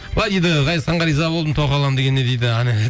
былай дейді ғазизханға риза болдым тоқал аламын дегеніне дейді